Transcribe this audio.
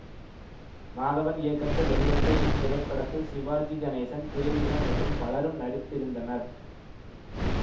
மாதவன் இயக்கத்தில் வெளிவந்த இத்திரைப்படத்தில் சிவாஜி கணேசன் தேவிகா மற்றும் பலரும் நடித்திருந்தனர்